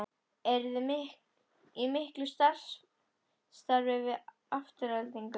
Eruði í miklu samstarfi við Aftureldingu?